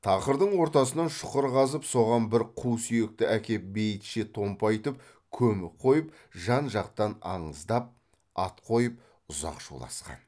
тақырдың ортасынан шұқыр қазып соған бір қу сүйекті әкеп бейітше томпайтып көміп қойып жан жақтан аныздап ат қойып ұзақ шуласқан